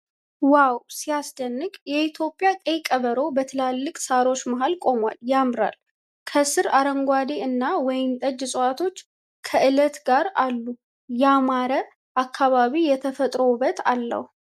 ዋው ሲያስደንቅ! የኢትዮጵያ ቀይ ቀበሮ በትላልቅ ሣሮች መሃል ቆሟል። ያምራል! ከስር አረንጓዴ እና ወይን ጠጅ እጽዋቶች ከዐለት ጋር አሉ። ያማረ! አካባቢው የተፈጥሮ ውበት አለው።